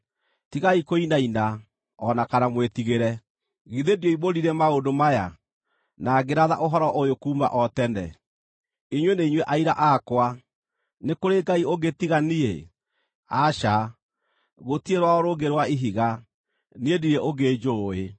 Tigai kũinaina, o na kana mwĩtigĩre. Githĩ ndioimbũrire maũndũ maya, na ngĩratha ũhoro ũyũ kuuma o tene? Inyuĩ nĩ inyuĩ aira akwa. Nĩ kũrĩ Ngai ũngĩ tiga niĩ? Aca, gũtirĩ rwaro rũngĩ rwa Ihiga, niĩ ndirĩ ũngĩ njũũĩ.”